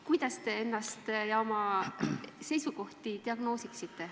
Kuidas te ennast ja oma seisukohti diagnoosiksite?